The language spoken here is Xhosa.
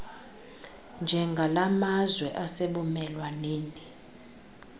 njengala mazwe asebumelwaneni